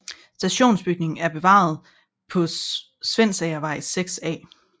Stationsbygningen er bevaret på Svendsagervej 6A